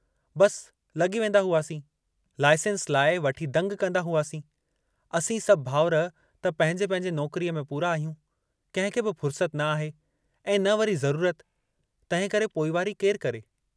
बस लगी वेन्दा हुआसीं लाईसेंस लाइ वठी दंग कन्दा हुआसीं, असीं सभु भाउर त पंहिंजे पंहिंजे नौकरीअ में पूरा आहियूं, कंहिंखे बि फुरसत न आहे, ऐं न वरी ज़रूरत, तंहिंकरे पोइवारी केरु करे।